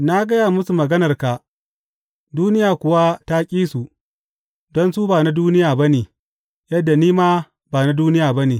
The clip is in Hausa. Na gaya musu maganarka duniya kuwa ta ƙi su, don su ba na duniya ba ne yadda ni ma ba na duniya ba ne.